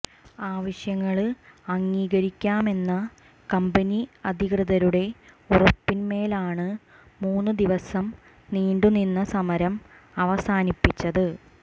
ആവശ്യങ്ങള് അംഗീകരിക്കാമെന്ന കമ്പനി അധികൃതരുടെ ഉറപ്പിന്മേലാണ് മൂന്ന് ദിവസം നീണ്ടു നിന്ന സമരം അവസാനിപ്പിച്ചത്